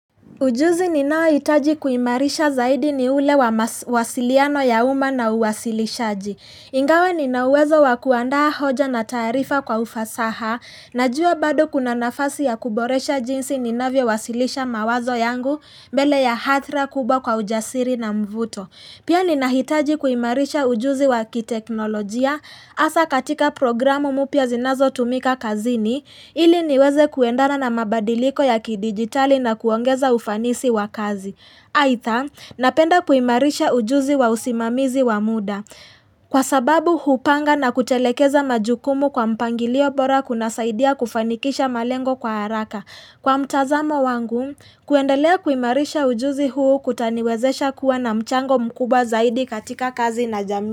Ujuzi ninaoa hitaji kuimarisha zaidi ni ule wa mawasiliano ya uma na uwasilishaji. Ingawa ninauwezo wakuandaa hoja na taarifa kwa ufasaha, najuwa bado kuna nafasi ya kuboresha jinsi ninavyo wasilisha mawazo yangu mbele ya hadhira kubwa kwa ujasiri na mvuto. Pia ninahitaji kuimarisha ujuzi wa kiteknolojia hasaa katika programu mpya zinazotumika kazini, ili niweze kuendana na mabadiliko ya kidijitali na kuongeza ufanisi wa kazi. Aidha, napenda kuimarisha ujuzi wa usimamizi wa muda. Kwa sababu, hupanga na kutelekeza majukumu kwa mpangilio bora kunasaidia kufanikisha malengo kwa haraka. Kwa mtazamo wangu, kuendelea kuimarisha ujuzi huu kutaniwezesha kuwa na mchango mkubwa zaidi katika kazi na jamii.